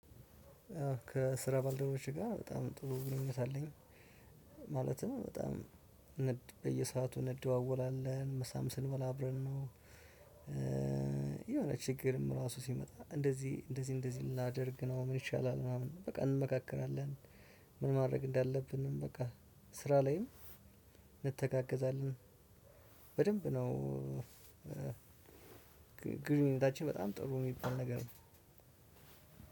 ከስራ ባልደረቦቼ ጋር በጣም ጥሩ ግንኙነት አለኝ። ማለትም በጣም በየሰአቱ እንደዋወላለን ምሳም ስንበላ አብረን ነው። የሆነ ችግርም ራሱ ሲመጣ እንደዚህ እንደዚህ እንደዚህ ላደርግ ነው ምን ይሻላል ምናምን በቃ እንመካከራለን። ምን ማድረግ እንዳለብንም በቃ ስራ ላይም እንተጋገዛለን። በደንብ ነው። ግንኙነታችን በጣም ጥሩ የሚባል ነገር ነው።